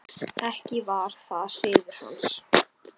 Ekki var það siður hans.